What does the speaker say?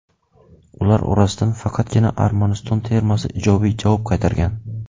Ular orasidan faqatgina Armaniston termasi ijobiy javob qaytargan.